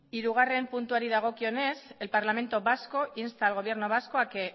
hirugarrena puntuari dagokionez el parlamento vasco insta al gobierno vasco a que